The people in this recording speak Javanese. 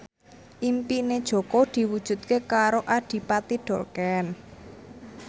impine Jaka diwujudke karo Adipati Dolken